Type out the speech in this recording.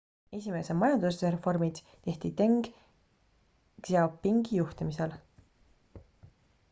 esimesed majandusreformid tehti deng xiaopingi juhtimisel